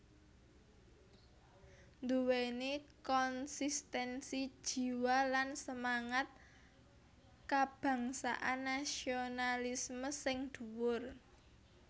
Nduwèni konsistensi jiwa lan semangat kabangsan nasionalisme sing dhuwur